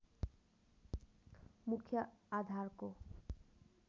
मुख्य आधारको